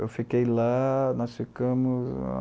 Eu fiquei lá, nós ficamos